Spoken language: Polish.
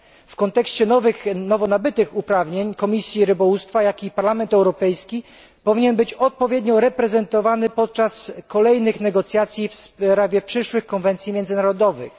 W kontekście nowo nabytych uprawnień Komisja Rybołówstwa i Parlament Europejski powinny być odpowiednio reprezentowane podczas kolejnych negocjacji w sprawie przyszłych konwencji międzynarodowych.